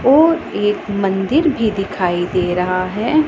और एक मंदिर भी दिखाई दे रहा है।